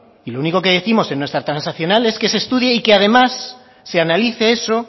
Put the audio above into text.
y lo único que décimo en nuestra transaccional es que se estudie y que además se analice eso